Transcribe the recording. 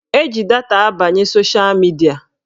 Eji data abanye sosha midia